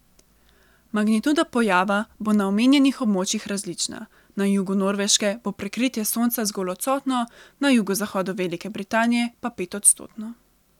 Magnituda pojava bo na omenjenih območjih različna, na jugu Norveške bo prekritje Sonca zgolj odstotno, na jugozahodu Velike Britanije pa petodstotno.